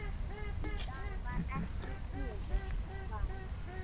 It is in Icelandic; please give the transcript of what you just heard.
Það var ekki sniðugt val.